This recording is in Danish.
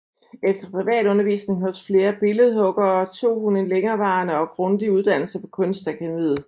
Efter privatundervisning hos flere billedhuggere tog hun en længerevarende og grundig uddannelse på Kunstakademiet